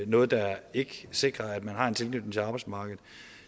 noget der ikke sikrer at man har en tilknytning til arbejdsmarkedet